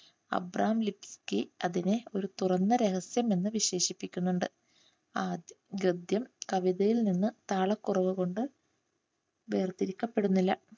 Abraham Luski അതിനെ ഒരു തുറന്ന രഹസ്യം എന്ന് വിശേഷിപ്പിക്കുന്നുണ്ട്. ആ ഗദ്യം കവിതയിൽ നിന്ന് താള കുറവുകൊണ്ട് വേർത്തിരിക്കപ്പെടുന്നില്ല.